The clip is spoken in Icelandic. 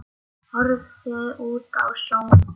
Horfði út á sjóinn.